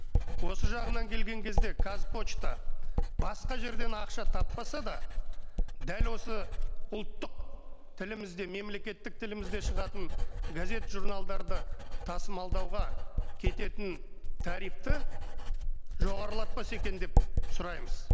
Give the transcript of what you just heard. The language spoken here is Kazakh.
осы жағынан келген кезде қазпошта басқа жерден ақша таппаса да дәл осы ұлттық тілімізде мемлекеттік тілімізде шығатын газет журналдарды тасымалдауға кететін тарифті жоғарлатпаса екен деп сұраймыз